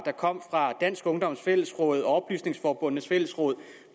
er kommet fra dansk ungdoms fællesråd og oplysningsforbundenes fællesråd